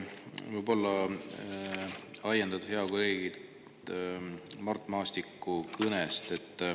ajendatuna hea kolleegi Mart Maastiku kõnest.